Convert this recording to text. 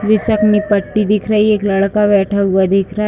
जिसे अपनी पट्टी दिख रही है। एक लड़का बैठा हुआ दिख रहा --